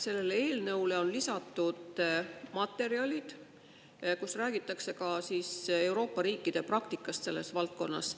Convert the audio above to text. Sellele eelnõule on lisatud materjalid, kus räägitakse ka Euroopa riikide praktikast selles valdkonnas.